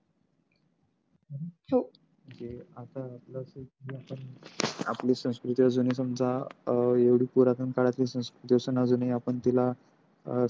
जे आता आपली संस्कृती अजून हि समजा अं एवढी पुरातन काळातली संस्कृती असून हि अजूनही आपण तीला.